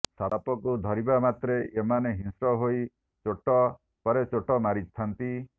ସାପକୁ ଧରିବା ମାତ୍ରେ ଏମାନେ ହିଂସ୍ର ହୋଇ ଚୋଟ ପରେ ଚୋଟ ମାରିଥାନ୍ତି